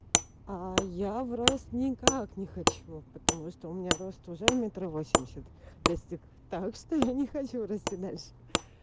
а я в рост никак не хочу потому что у меня рост уже метр восемьдесят достиг так что я не хочу расти дальше